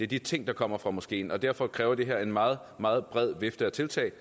de ting der kommer fra moskeen og derfor kræver det her er en meget meget bred vifte af tiltag